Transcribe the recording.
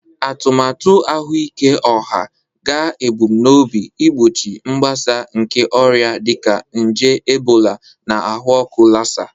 Atụmatụ ahụike ọha ga-ebumnobi igbochi mgbasa nke ọrịa dịka nje Ebola na ahụ ọkụ Lassa